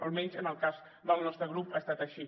almenys en el cas del nostre grup ha estat així